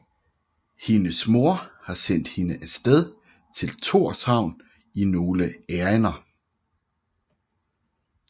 Hendes mor har sendt hende af sted til Torshavn i nogle ærinder